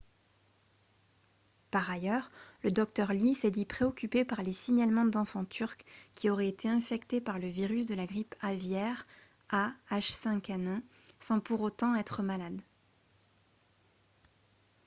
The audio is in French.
par ailleurs le docteur lee s'est dit préoccupé par les signalements d'enfants turcs qui auraient été infectés par le virus de la grippe aviaire ah5n1 sans pour autant être malades